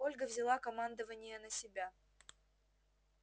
ольга взяла командование на себя